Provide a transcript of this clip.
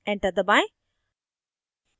enter दबाएं